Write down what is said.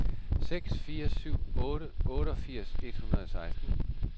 seks fire syv otte otteogfirs et hundrede og seksten